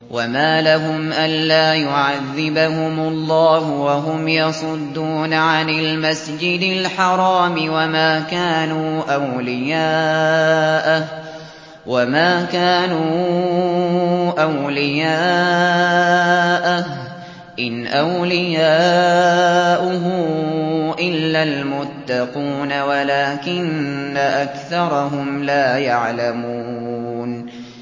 وَمَا لَهُمْ أَلَّا يُعَذِّبَهُمُ اللَّهُ وَهُمْ يَصُدُّونَ عَنِ الْمَسْجِدِ الْحَرَامِ وَمَا كَانُوا أَوْلِيَاءَهُ ۚ إِنْ أَوْلِيَاؤُهُ إِلَّا الْمُتَّقُونَ وَلَٰكِنَّ أَكْثَرَهُمْ لَا يَعْلَمُونَ